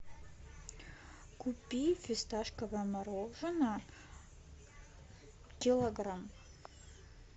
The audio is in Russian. купи фисташковое мороженое килограмм